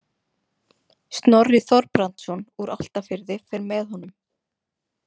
Snorri Þorbrandsson úr Álftafirði fer með honum.